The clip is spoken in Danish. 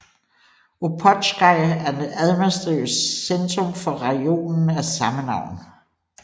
Opotsjka er det administrative centrum for rajonen af samme navn